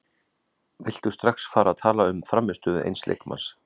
Viltu strax fara að tala um frammistöðu eins leikmanns?